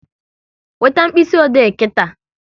Weta mkpịsị ode nkịta!